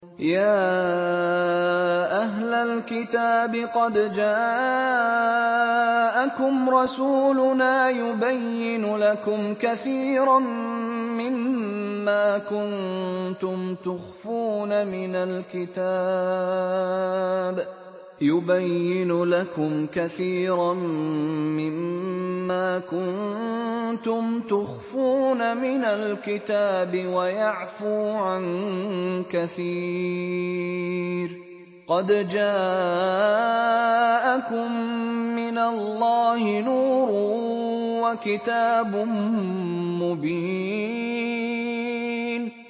يَا أَهْلَ الْكِتَابِ قَدْ جَاءَكُمْ رَسُولُنَا يُبَيِّنُ لَكُمْ كَثِيرًا مِّمَّا كُنتُمْ تُخْفُونَ مِنَ الْكِتَابِ وَيَعْفُو عَن كَثِيرٍ ۚ قَدْ جَاءَكُم مِّنَ اللَّهِ نُورٌ وَكِتَابٌ مُّبِينٌ